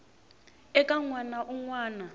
eka n wana un wana